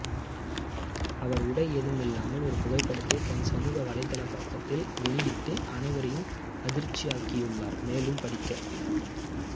அவர் உடை ஏதுமில்லாமல் ஒரு புகைப்படத்தை தன் சமூக வலைதள பக்கத்தில் வெளியிட்டு அனைவரையும் அதிர்ச்சிகுள்ளாக்கியுள்ளார் மேலும் படிக்க